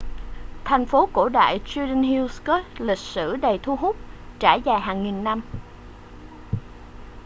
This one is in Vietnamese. thành phố cổ đại ở judean hills có lịch sử đầy thu hút trải dài hàng nghìn năm